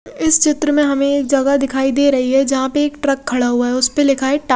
इस चित्र में हमे एक जगह दिखाई दे रही है जहा पे एक ट्रक खड़ा हुआ है उसपे लिखा है टा--